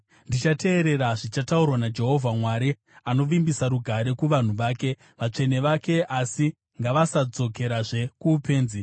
Ndichateerera zvichataurwa naJehovha Mwari; anovimbisa rugare kuvanhu vake, vatsvene vake, asi ngavasadzokerazve kuupenzi.